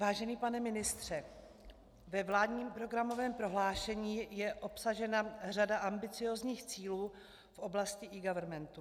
Vážený pane ministře, ve vládním programovém prohlášení je obsažena řada ambiciózních cílů v oblasti eGovernmentu.